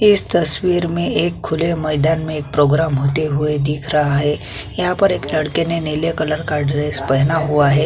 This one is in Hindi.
इस तस्वीर में एक खुले मैदान में एक प्रोग्राम होते हुए दिख रहा है यहाँ पर एक लड़के ने नीले कलर का ड्रेस पहना हुआ है।